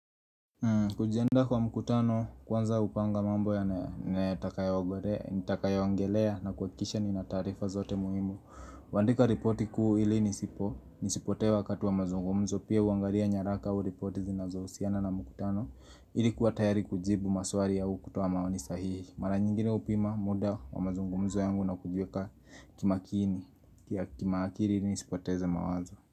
Kujianda kwa mkutano kwanza hupanga mambo ya ntakaya ongelea, nitaka ya wangelea na kuha kikisha ni na tarifa zote muhimu Wandika ripoti kuu ili nisipo, nisipote wakatu wa mazungumzo pia huangaria nyaraka u ripoti zinazo husiana na mkutano ili kuwa tayari kujibu maswari au kutoa maonisahii Mara nyingine upima muda wa mazungumzo yangu na kujueka kimakini, kia kimakiri nisipoteze mawazo.